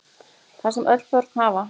Það sem öll börn hafa